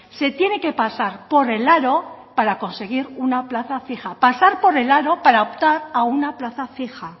se tiene que pasar por el aro para conseguir una plaza fija pasar por el aro para optar a una plaza fija